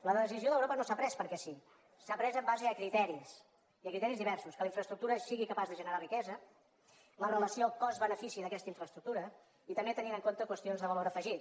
la decisió d’europa no s’ha pres perquè sí s’ha pres en base a criteris i a criteris diversos que la infraestructura sigui capaç de generar riquesa la relació cost benefici d’aquesta infraestructura i també tenint en compte qüestions de valor afegit